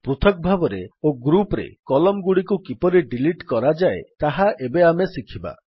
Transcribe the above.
ପୃଥକ ଭାବରେ ଓ ଗ୍ରୁପ୍ ରେ Columnଗୁଡିକୁ କିପରି ଡିଲିଟ୍ କରାଯାଏ ତାହା ଏବେ ଆମେ ଶିଖିବା